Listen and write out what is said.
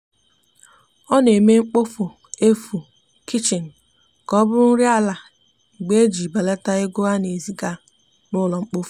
ọ na eme mkpofu efu kichin ka ọbụrụ nri ala mgbe nile iji belata ego ana ezi ga n'ulo mkpofu